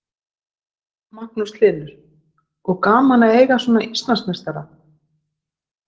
Magnús Hlynur: Og gaman að eiga svona Íslandsmeistara?